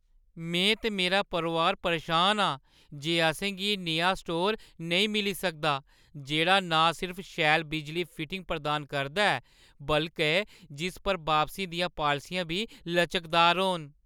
में ते मेरा परोआर परेशान आं जे असें गी नेहा स्टोर नेईं मिली सकदा जेह्ड़ा ना सिर्फ शैल बिजली फिटिंग प्रदान करदा ऐ बल्के जिस च बापसी दियां पालसियां बी लचकदार होन।